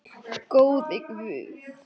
Góði Guð.